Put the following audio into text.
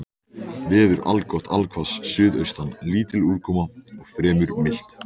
Veður allgott allhvass suðaustan lítil úrkoma og fremur milt.